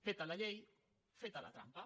feta la llei feta la trampa